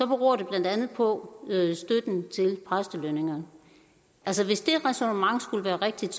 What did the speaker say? beror det blandt andet på støtten til præstelønningerne altså hvis det ræsonnement skulle være rigtigt